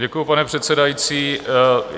Děkuju, pane předsedající.